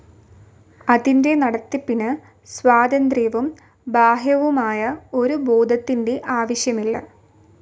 അതിന്റെ നടത്തിപ്പിന് സ്വതന്ത്രവും ബാഹ്യവുമായ ഒരു ബോധത്തിന്റെ ആവശ്യമില്ല.